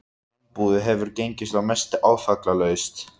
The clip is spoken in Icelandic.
Sambúðin hefur gengið að mestu áfallalaust.